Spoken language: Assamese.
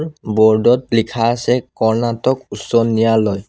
বোৰ্ড ত লিখা আছে কৰ্ণাটক উচ্চ ন্যায়ালয়।